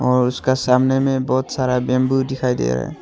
और उसका सामने में बहुत सारा बंम्बू दिखाई दे रहा है।